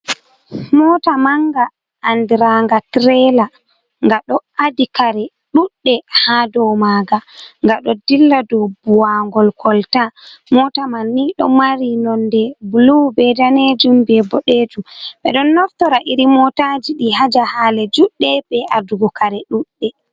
Mota manga andranga tirela nga ɗo adi kare ɗuɗɗe ha dou maanga gaɗo dilla dou buwangol kolta. Mota man ni ɗo mari nonde bulu be danejum be ɓoɗejum ɓeɗon naftora irim motajii ɗii ha jahale juɗɗe be adugo kare ɗuɗɗe.